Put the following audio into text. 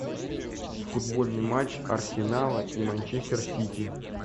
футбольный матч арсенала и манчестер сити